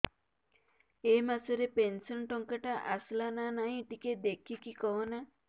ଏ ମାସ ରେ ପେନସନ ଟଙ୍କା ଟା ଆସଲା ନା ନାଇଁ ଟିକେ ଦେଖିକି କହନା